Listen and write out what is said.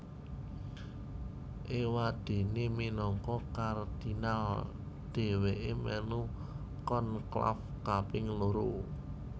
Éwadéné minangka kardinal dhèwèké mèlu konklaf kaping loro